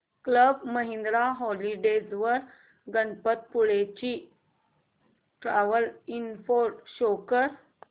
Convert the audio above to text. club Mahindra holidays वर गणपतीपुळे ची travel info show कर